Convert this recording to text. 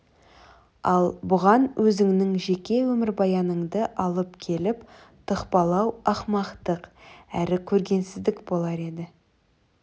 ал бұған өзіңнің жеке өмірбаяныңды алып келіп тықпалау ақымақтық әрі көргенсіздік болар еді